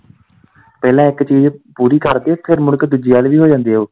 ਪਹਿਲਾਂ ਇੱਕ ਚੀਜ਼ ਪੂਰੀ ਕਰਦੇ ਫਿਰ ਮੁੜ ਕੇ ਦੂਜੀ ਵੱਲ ਵੀ ਹੋ ਜਾਂਦੇ ਓ।